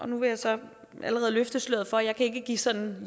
nu vil jeg så allerede løfte sløret for at jeg ikke sådan